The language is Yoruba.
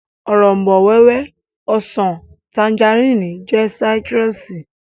Òrombó-wẹ́wẹ́, ọsàn, tanjarínnì jẹ́ sáítírùsì